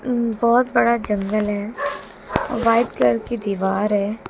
बहुत बड़ा जंगल है और वाइट कलर की दीवार है।